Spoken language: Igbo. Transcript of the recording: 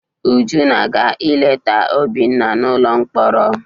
Uju na-aga ileta Obinna n'ụlọ mkpọrọ.